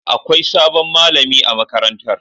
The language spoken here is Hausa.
Akwai sabon malami a makarantar.